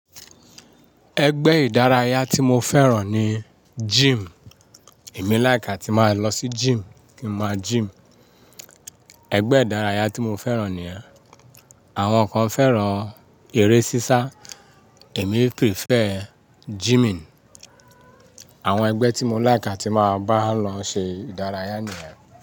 Ẹgbẹ́ ìdárayá tí mo fẹ́ràn ni gym. Èmi like àti máa lọ sí gym kí n máa gym. Ẹgbẹ́ ìdárayá tí mo fẹ́ràn nìyẹn. Àwọn kan fẹ́ràn eré sísá, èmi prefer gyming. Àwọn ẹgbẹ́ tí mo like àti máa bá lọ ṣe ìdárayá ni yẹn.